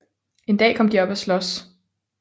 En dag kom de op at slås